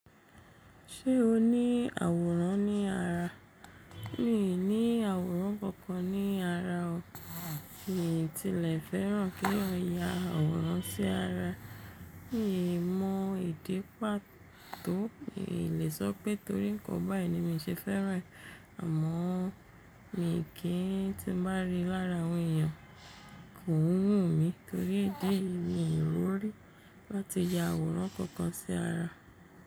Ṣé o ní àwòrán ní ara? Mi ní àwòrán kankan ní ara o. Mìí ti lè fẹ́ràn kí eeyan ya àwòrán sí ara. Mi mọ ìdípà tó, mi lè sọ pé torí nǹkan báyìí ni mi ṣe fẹ́ràn rẹ̀ àmọ́ mi kì í, tí mo bá rí i lára àwọn èèyàn, kò n wù mí torí dí eyi mi rorí láti ya àwòrán kankan sí ara.